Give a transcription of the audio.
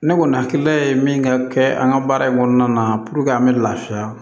Ne kɔni hakilila ye min ka kɛ an ka baara in kɔnɔna na an bɛ lafiya